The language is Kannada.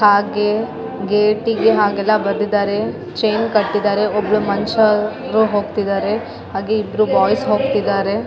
ಹಾಗೆ ಗೇಟಿಗೆ ಅಗಲ ಬರ್ದಿದಾರೆ ಚೈನ್‌ ಕಟ್ಟಿದ್ದಾರೆ ಒಬ್ಳು ಮನ್ಷಊ ಹೋಗ್ತಿದ್ದಾರೆ ಹಾಗೆ ಇಬ್ರು ಬಾಯ್ಸ್‌ ಹೋಗ್ತಿದ್ದಾರೆ .